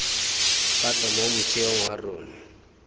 gape mo motheong wa rona